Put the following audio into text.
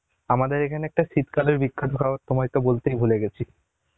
আমাদের এখানে তো একটা শীতকালের বিখ্যাত খাবার তোমায় তো বলতেই ভুলে গেছি